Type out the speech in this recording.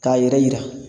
K'a yɛrɛ yira